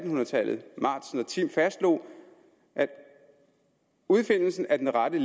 hundrede tallet matzen og timm fastslog at udfindelsen af den rette